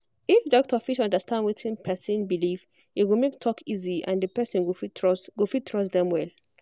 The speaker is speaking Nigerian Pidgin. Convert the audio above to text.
if doctor fit understand wetin person believe e go make talk easy and the person go fit trust go fit trust dem well.